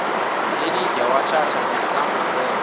elide wathatha nesambulela